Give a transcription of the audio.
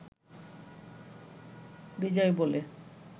বিজয় বলে